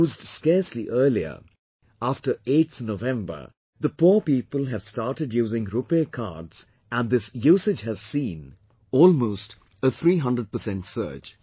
Used scarcely earlier, after 8th November the poor people have started using Rupay Cards and this usage has seen almost 300% surge